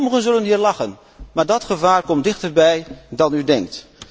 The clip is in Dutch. Sommigen zullen hier lachen, maar dat gevaar komt dichterbij dan u denkt.